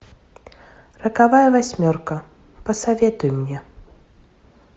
роковая восьмерка посоветуй мне